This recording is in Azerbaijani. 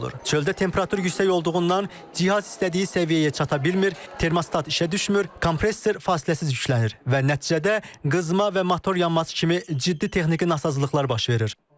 Çöldə temperatur yüksək olduğundan cihaz istədiyi səviyyəyə çata bilmir, termostat işə düşmür, kompressor fasiləsiz yüklənir və nəticədə qızma və motor yanması kimi ciddi texniki nasazlıqlar baş verir.